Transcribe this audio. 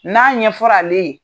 N'a ɲɛfɔr'ale ye